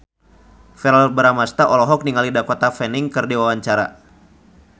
Verrell Bramastra olohok ningali Dakota Fanning keur diwawancara